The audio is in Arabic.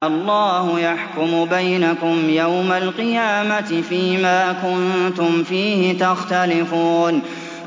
اللَّهُ يَحْكُمُ بَيْنَكُمْ يَوْمَ الْقِيَامَةِ فِيمَا كُنتُمْ فِيهِ تَخْتَلِفُونَ